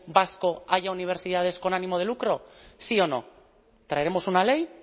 vasco haya universidades con ánimo de lucro sí o no traeremos una ley